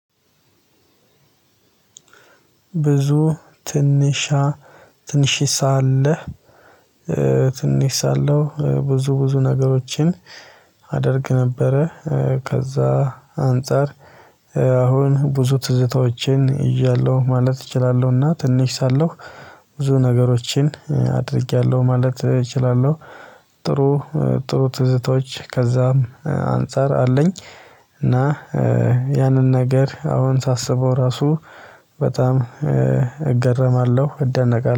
ብዙ ትንሻ ትንሺሳ አለህ? ትንሽ ሳለሁ ብዙ ብዙ ነገሮችን አደርግ ነበረ ከዛ አንፃር አሁን ብዙ ትዝታዎችን እያለሁ ማለት እችላለሁና። ትንሽ ሳለሁ ብዙ ነገሮችን አድርጌያለሁ ማለት እችላለሁ። ጥሩ ጥሩ ትዝቶች ከዛም አንፃር አለኝ። እና ያንን ነገር አሁን ሳስበው ራሱ በጣም እገረማለሁ እደነቃለሁ